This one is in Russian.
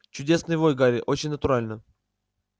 чудесный вой гарри очень натурально